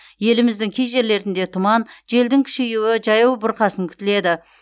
еліміздің кей жерлерінде тұман желдің күшеюі жаяу бұрқасын күтіледі